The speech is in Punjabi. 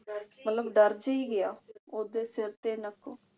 ਮਤਲਬ ਡਰ ਜੀ ਗਿਆ। ਉਹਦੇ ਸਿਰ ਤੇ